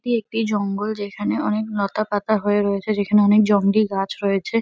এটি একটি জঙ্গল। যেখানে অনেক লতাপাতা হয়ে রয়েছে যেখানে অনেক জঙ্গলি গাছ রয়েছে।